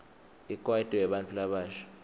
ikwaito yebantfu labasha